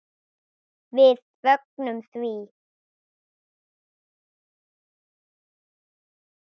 Við fögnum því.